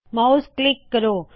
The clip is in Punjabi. ਮਾਉਸ ਕਲਿੱਕ ਕਰੋ